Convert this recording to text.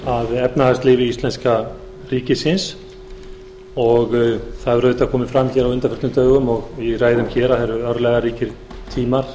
að efnahagslífi íslenska ríkisins og það hefur auðvitað komið fram hér á undanförnum dögum og í ræðum hér að það eru örlagaríkir tímar